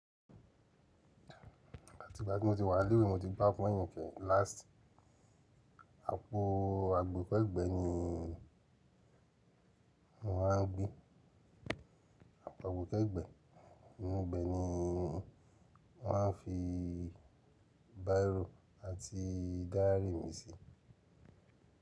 Láti ìgbà tí mo ti wà lẹ́wé, mo ti gbá fọ́yìn kẹ̀ẹ̀ lasti. Àpò àgbè kẹ́gbẹ́ ni wọ́n máa ń gbé, àpò àgbè kẹ́gbẹ́. Nínú ibẹ̀ ni mo má ń fi bírò àti dáyárì mi sí.